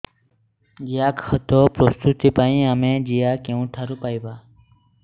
ଜିଆଖତ ପ୍ରସ୍ତୁତ ପାଇଁ ଆମେ ଜିଆ କେଉଁଠାରୁ ପାଈବା